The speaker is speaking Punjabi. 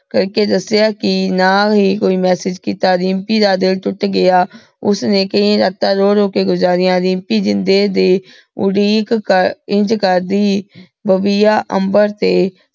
ਕਰ ਕੇ ਦਸ੍ਯਾ ਕਿ ਨਾ ਹੀ ਕੋਈ message ਕੀਤਾ, ਰਿਮਪੀ ਦਾ ਦਿਲ ਤੂਤ ਗਯਾ ਓਸਨੇ ਕਈ ਰਾਤਾਂ ਰੋ ਰੋ ਕੇ ਗੁਜ਼ਾਰਿਯਾਂ। ਰਿਮਪੀ ਜਿੰਦੇ ਦੀ ਉਡੀਕ ਕਰ ਇੰਜ ਕਰਦੀ, ਬਾਬਿਯਾਯ ਅਮ੍ਬਰ ਤੇ